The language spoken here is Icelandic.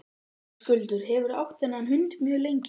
Höskuldur: Hefurðu átt þennan hund mjög lengi?